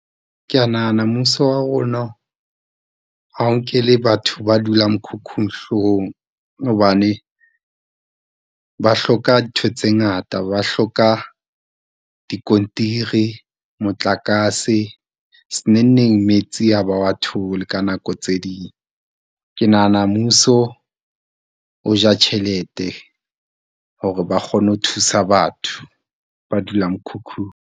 Ke ya nahana mmuso wa rona ha o nkele batho ba dulang mekhukhung hlohong, hobane ba hloka dintho tse ngata, ba hloka dikontiri, motlakase, se nengneng metsi ha ba wa thole ka nako tse ding. Ke nahana mmuso o ja tjhelete hore ba kgone ho thusa batho ba dulang mekhukhung.